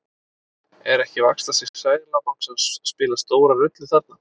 Er ekki vaxtastig Seðlabankans að spila stóra rullu þarna?